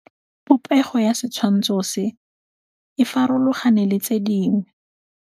Popêgo ya setshwantshô se, e farologane le tse dingwe.